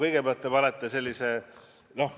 Kõigepealt, te panete lati nii kõrgele.